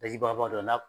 Daji bagaba dɔ n'a